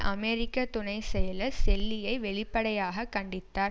அமெரிக்க துணை செயலர் செல்லியை வெளிப்படையாக கண்டித்தார்